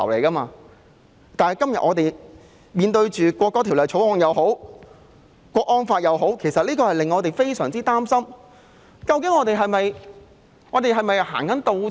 可是，今天我們面對《條例草案》和港區國安法，令我們非常擔心香港是否在開倒車。